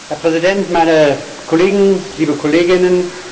Herr Präsident, meine Kollegen und liebe Kolleginnen!